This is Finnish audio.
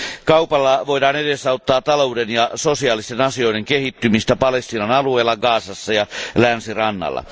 Kaupalla voidaan edesauttaa talouden ja sosiaalisten asioiden kehittymistä Palestiinan alueella Gazassa ja Länsirannalla.